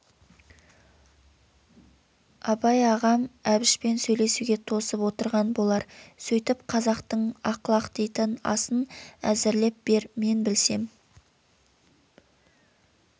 абай ағам әбішпен сөйлесуге тосып отырған болар сөйтіп қазақтың ақлақ дейтін асын әзірлеп бер мен білсем